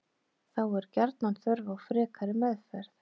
Þá er gjarnan þörf á frekari meðferð.